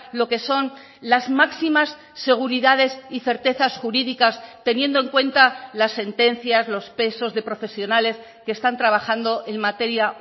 lo que son las máximas seguridades y certezas jurídicas teniendo en cuenta las sentencias los pesos de profesionales que están trabajando en materia